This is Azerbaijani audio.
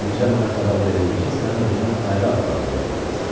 İndicə mənə xəbər verildi ki, sən özünü ayrı adlandırmısan.